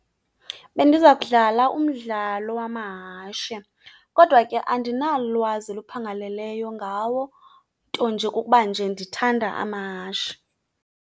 Bendiza kudlala umdlalo wamahashe, kodwa ke andinalwazi luphangaleleyo ngawo, nto nje kukuba nje ndithanda amahashe.